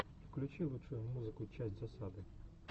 включи лучшую часть засады